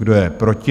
Kdo je proti?